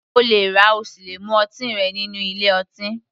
O lè rà ,o sì le mu ọtí rẹ nínú ilé ọtí